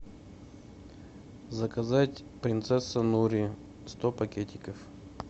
заказать принцесса нури сто пакетиков